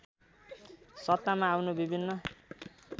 सत्तामा आउनु विभिन्न